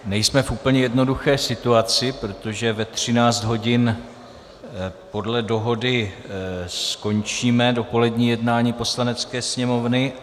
Nejsme v úplně jednoduché situaci, protože ve 13 hodin podle dohody skončíme dopolední jednání Poslanecké sněmovny.